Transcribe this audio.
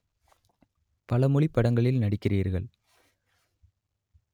பலமொழிப் படங்களில் நடிக்கிறீர்கள்